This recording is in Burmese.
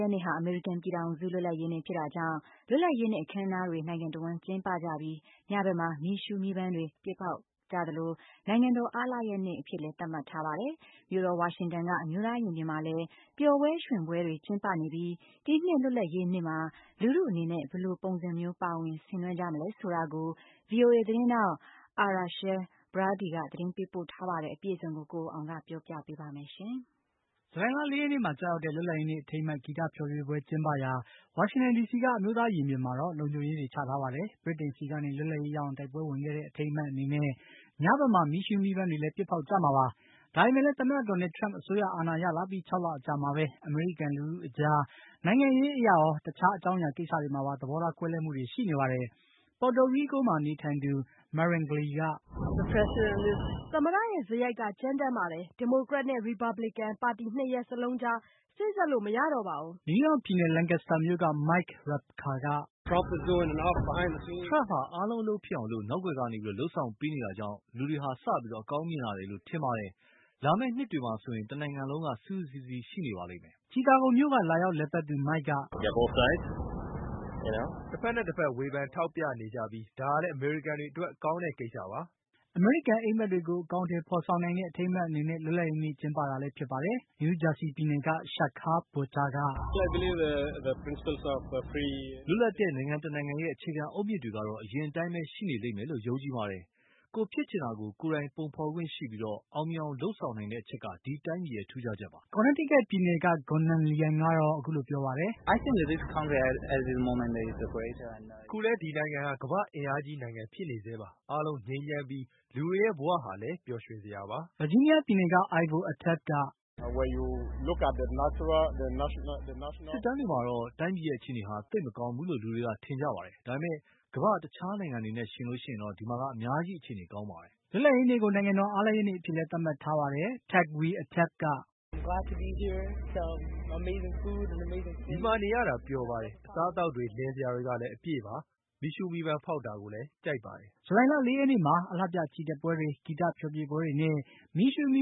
ရက်နေ့ဟာ အမေရိကန်ပြည်ထောင်စု လွတ်လပ်ရေးနေ့ဖြစ်တာကြောင့် လွတ်လပ်ရေးနေ့ အခမ်းအနားတွေ နိုင်ငံတဝှမ်းကျင်းပကြပြီး ညဘက်မှာ မီးရှုးမီးပန်းတွေ ပစ်ဖေါက်ကြသလိုနိုင်ငံတော် အားလပ်ရက်နေ့အဖြစ်လည်း သတ်မှတ်ထားပါတယ်။ မြို့တော် ဝါရှင်တန်က အမျိုးသားရင်ပြင်မှာလည်း ပျော်ပွဲရွှင်ပွဲတွေ ကျင်းပနေပြီး ဒီနှစ် လွတ်လပ်ရေးနေ့မှာ လူထုအနေနဲ့ ဘယ်လိုပုံစံမျိုး ပါဝင်ဆင်နွှဲကြမလဲဆိုတာကို VOA သတင်းထောက် Arash Arabasadi က သတင်းပေးပို့ထားပါတယ်။ ကိုအောင်အောင်က တင်ပြပေးပါမယ်။ ဇူလိုင်လ ၄ ရက်နေ့မှာ ကျရောက်တဲ့ လွတ်လပ်ရေးနေ့ အထိမ်းအမှတ် ဂီတဖျော်ဖြေပွဲကျင်းပရာ ဝါရှင်တန်ဒီစီက အမျိုးသားရင်ပြင်မှာတော့ လုံခြုံရေးတွေ ချထားပါတယ်။ ဗြိတိန်စီကနေ လွတ်လပ်ရေးရအောင် တိုက်ပွဲဝင်ခဲ့တဲ့ အထိမ်းအမှတ်အနေနဲ့ ညဘက်မှာ မီးရှုးမီးပန်းတွေလည်း ပစ်ဖေါက်ကြမှာပါ။ ဒါပေမယ့်လည်း သမ္မတ Donald trump အစိုးရ အာဏာရလာပြီး ၆ လအကြာမှာပဲ အမေရိကန်လူထုတွေအကြား နိုင်ငံရေးအရရော တခြားအကြောင်းအရာကိစ္စတွေမှာပါ သဘောထားကွဲလွဲမှုတွေ ရှိနေပါတယ်။ ပေါ်တိုရီးကိုးမှာနေထိုင်သူ Marangely က “သမ္မတရဲ့စရိုက်က ကြမ်းတမ်းပါတယ်။ ဒီမိုကရက်နဲ့ Republican ပါတီ ၂ ရပ်လုံးကြား စေ့စပ်လို့ မရတော့ပါဘူး။” နယူးယောက်ပြည်နယ် Lancaster မြို့က Mike Repka က “ထရမ့်ဟာ အားလုံး အလုပ်ဖြစ်အောင် နောက်ကွယ်ကနေ လုပ်ဆောင်ပေးနေ တာကြောင့် လူတွေဟာ စပြီး အကောင်းမြင်လာတယ်လို့ ထင်ပါတယ်။ လာမယ့်နှစ်တွေမှာ ဆိုရင် တနိုင်ငံလုံးက စုစုစည်းစည်း ရှိနေပါလိမ့်မယ်။” ချီကာဂိုမြို့က လာရောက်လည်ပတ်သူ မိုက်က “တဖက်နဲ့ တဖက် ဝေဖန်ထောက်ပြနေကြပြီးဒါဟာလည်း အမေရိကန်တွေအတွက် ကောင်းတဲ့ကိစ္စပါ။” အမေရိကန် အိပ်မက်တွေကို အကောင်အထည်ဖေါ်ဆောင်နိုင်တဲ့ အထိမ်းအမှတ်အနေနဲ့ လွတ်လပ်ရေးနေ့ကျင်းပတာလည်းဖြစ်ပါတယ်။ New Jersey ပြည်နယ်က Shekhar Botcha ကတော့ “လွတ်လပ်တဲ့နိုင်ငံတနိုင်ငံရဲ့ အခြေခံအုတ်မြစ်တွေကတော့ အရင်အတိုင်းပဲ ရှိနေလိမ့်မယ်လို့ ယုံကြည်ပါတယ်။ ကိုယ်ဖြစ်ချင်တာကို ကိုယ်တိုင် ပုံဖေါ်ခွင့်ရှိပြီး အောင်မြင်အောင် လုပ်ဆောင်နိုင်တဲ့အချက်က ဒီတိုင်းပြည်ရဲ့ ထူးခြားချက်ပါ။” Connecticut ပြည်နယ်က Gonn Nan Liang က “အခုလဲ ဒီနိုင်ငံဟာ ကမ္ဘာ့အင်အားကြီးနိုင်ငံဖြစ်နေဆဲပါ။ အားလုံး ငြိမ်းချမ်းပြီး လူတွေရဲ့ ဘဝဟာလဲ ပျော်ရွှင်စရာပါ။” ဗာဂျီးနီးယားပြည်နယ်က Ivo Atabe က “စစ်တမ်းတွေမှာတော့ တိုင်းပြည်ရဲ့ အခြေအနေဟာ သိတ်မကောင်းဘူးလို့ လူတွေက ထင်ကြပါတယ်။ ဒါပေမယ့် ကမ္ဘ့ာ တခြားနိုင်ငံတွေနဲ့ ယှဉ်လိုက်ရင် ဒီမှာက အများကြီး အခြေအနေကောင်းပါတယ်။” လွတ်လပ်ရေးနေ့ကို နိုင်ငံတော် အားလပ်ရက်နေ့အဖြစ်လည်း သတ်မှတ်ထားပါတယ်။ Atabe ကတော့ “ဒီမှာနေရတာ ပျော်ပါတယ်၊ အစားအသောက်တွေ၊ လည်စရာတွေကလည်း အပြည့်ပါ။ မီးရှုးမီးပန်းဖေါက်တာကိုလည်း ကြိုက်ပါတယ်။” ဇူလိုင်လ ၄ ရက်နေ့မှာတော့ အလှပြချီတက်ပွဲတွေ၊ ဂီတဖျော်ဖြေပွဲတွေနဲ့ မီးရှုးမီ